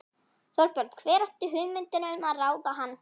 Þorbjörn: Hver átti hugmyndina um að ráða hann?